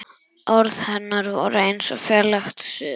Orð hennar voru eins og fjarlægt suð.